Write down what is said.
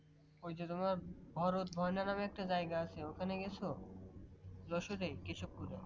তোমার ভরত ভয়না নামে একটা জায়গা আছে ওখানে গেছো যশোর কেশবপুরে